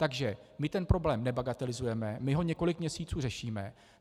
Takže my ten problém nebagatelizujeme, my ho několik měsíců řešíme.